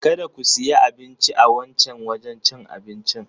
Kada ku siya abinci a wancan wajen cin abincin.